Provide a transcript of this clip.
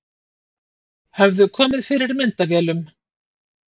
Höfðu komið fyrir myndavélum